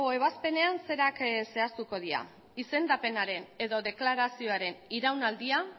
ebazpenean zerak zehaztuko dira izendapenaren edo deklarazioaren iraunaldia